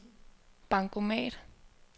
bankomat